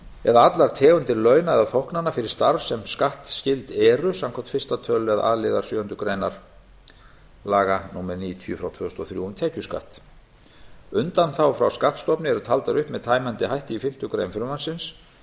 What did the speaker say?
eða allar tegundir launa eða þóknana fyrir starf sem skattskyld eru samkvæmt fyrsta tölulið a liðar sjöundu grein laga númer níutíu tvö þúsund og þrjú um tekjuskatt undanþágur frá skattstofni eru taldar upp með tæmandi hætti í fimmtu grein frumvarpsins